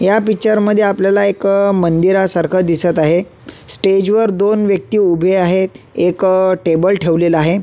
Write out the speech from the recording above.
या पिक्चर मध्ये आपल्याला एक मंदिरासारख दिसत आहे स्टेज वर दोन व्यक्ती उभ्या आहेत एक टेबल ठेवलेला आहे.